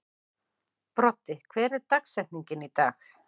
Broddi, hver er dagsetningin í dag?